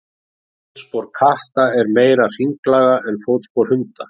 Fótspor katta er meira hringlaga en fótspor hunda.